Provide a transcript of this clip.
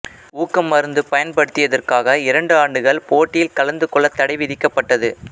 ஊக்கமருந்து பயன்படுத்தியதற்காக இரண்டு ஆண்டுகள் போட்டியில் கலந்துக்கொள்ள தடை விதிக்கப்பட்டது